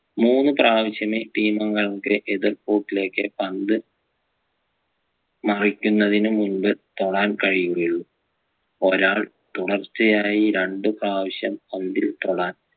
മൂന്ന് പ്രാവശ്യമേ team അംഗങ്ങളുടെ എതിർ കൂട്ടിലേക്ക് പന്ത് മരിക്കുന്നതിന് മുമ്പ് തൊടാൻ കഴിയുകയുള്ളൂ ഒരാൾ തുടർച്ചയായി രണ്ട് പ്രാവശ്യം പന്തിൽ തൊടാൻ